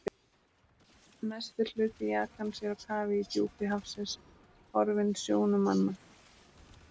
Mestur hluti jakans er á kafi í djúpi hafsins, horfinn sjónum manna.